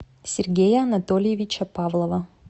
сергея анатольевича павлова